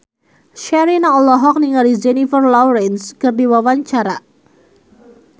Sherina olohok ningali Jennifer Lawrence keur diwawancara